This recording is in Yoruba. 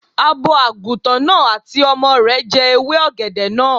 Abo Àgùntàn náà àti ọmọ rẹ̀ jẹ ewé ọ̀gẹ̀dẹ̀ náà